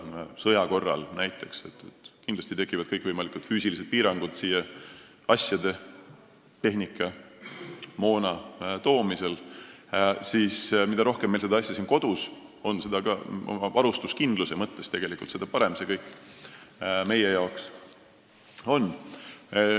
Näiteks sõja korral tekivad kindlasti kõikvõimalikud füüsilised piirangud siia asjade, tehnika ja moona toomisel ning mida rohkem meil neid asju siin kodus on, sh varustuskindluse mõttes, seda parem see meie jaoks tegelikult on.